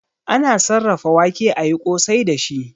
Ana sarrafa wake ayi kosai dashi